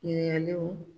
Ɲininkaliw